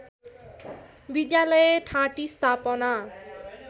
विद्यालय ठाँटी स्थापना